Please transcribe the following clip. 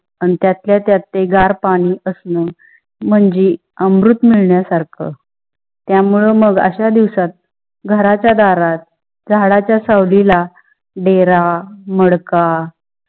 अन त्यातल्या त्यात ते गार पाणी असणं म्हणजे अमृत मिळण्यासारखा. त्या मुळे मग असा दिवसात घरच्या दारात झाडाच्या सावली ला डेरा, मडका